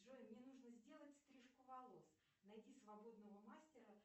джой мне нужно сделать стрижку волос найди свободного мастера